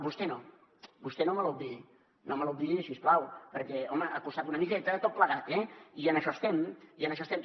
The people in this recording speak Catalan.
vostè no vostè no me l’obviï si us plau perquè home ha costat una miqueta tot plegat eh i en això estem i en això estem